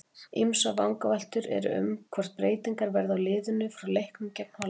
Ýmsar vangaveltur eru um hvort breytingar verði á liðinu frá leiknum gegn Hollandi.